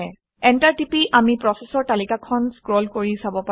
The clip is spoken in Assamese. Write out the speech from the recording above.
এণ্টাৰ টিপি আমি প্ৰচেচৰ তালিকাখন স্ক্ৰল কৰি চাব পাৰোঁ